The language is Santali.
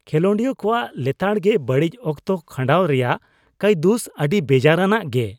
ᱠᱷᱮᱞᱳᱰᱤᱭᱟᱹ ᱠᱚᱣᱟᱜ ᱞᱮᱛᱟᱲ ᱜᱮ ᱵᱟᱹᱲᱤᱡ ᱚᱠᱛᱚ ᱠᱷᱟᱹᱰᱟᱣ ᱨᱮᱭᱟᱜ ᱠᱟᱹᱫᱩᱥ ᱫᱚ ᱟᱹᱰᱤ ᱵᱮᱡᱟᱨᱟᱱᱟᱜᱼᱟ ᱜᱮ ᱾